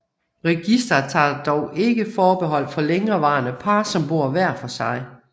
Registret tager dog ikke forbehold for længerevarende par som bor hver for sig